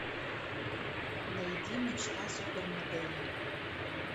найди мечта супермодели